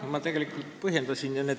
Ma tegelikult juba põhjendasin seda.